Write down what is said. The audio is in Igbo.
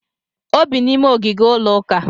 O bi n'ime ogige ụlọuka